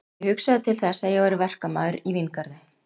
Ég hugsaði til þess að ég væri verkamaður í víngarði